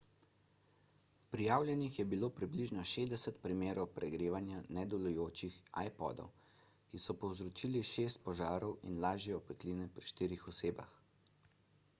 prijavljenih je bilo približno 60 primerov pregrevanja nedelujočih ipodov ki so povzročili šest požarov in lažje opekline pri štirih osebah